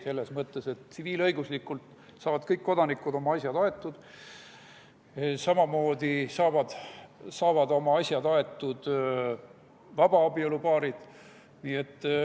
Selles mõttes, et tsiviilõiguslikult saavad kõik kodanikud oma asjad aetud, samamoodi saavad oma asjad aetud vabaabielupaarid.